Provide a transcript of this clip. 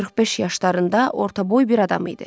45 yaşlarında, ortaboy bir adam idi.